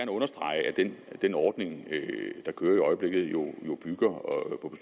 understrege at den ordning der kører i øjeblikket jo bygger på